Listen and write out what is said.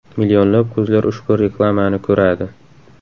Millionlab ko‘zlar ushbu reklamani ko‘radi!